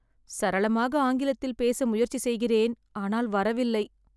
சரளமாக ஆங்கிலத்தில் பேச முயற்சி செய்கிறேன் ஆனால் வரவில்லை.